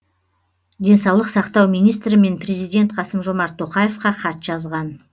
денсаулық сақтау министрі мен президент қасым жомарт тоқаевқа хат жазған